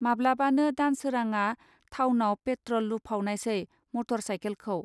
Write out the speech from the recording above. माब्लाबानो दानसोरांआ थावनाव पेट्रल लुफावनायसै मटर साइखेलखौ